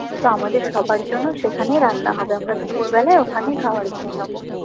তো আমাদের সবার জন্য সেখানেই রান্না হবে আমরা দুপুর বেলায় ওখানেই খাওয়ার খেয়ে নেবো